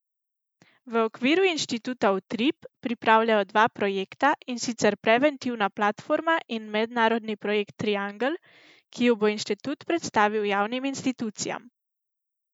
V okviru inštituta Utrip pripravljajo dva projekta, in sicer Preventivna platforma in mednarodni projekt Triangel, ki ju bo inštitut predstavil javnim institucijam.